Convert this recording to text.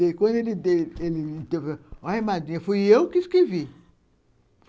Aí, quando ele deu, ele falou, olha, madrinha, fui eu que escrevi.